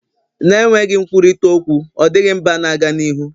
na-enweghị nkwurịta okwu ọ dịghị mba na-aga n'ihu